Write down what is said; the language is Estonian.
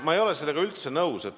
Ma ei ole sellega üldse nõus.